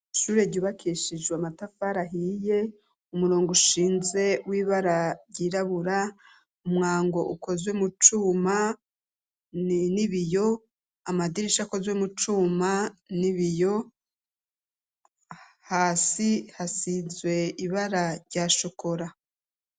ishure ryubakeshijwe amatafari ahiye umurongo ushinze w'ibara ryirabura umwango ukozwe mucuma n'ibiyo amadirisha akozwe mu cuma n'ibiyo hasi hasinzwe ibara ryashokora